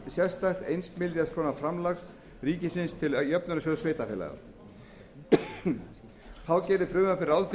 sérstakt eins milljarðs króna framlag ríkisins til jöfnunarsjóðs sveitarfélaga þá gerir frumvarpið ráð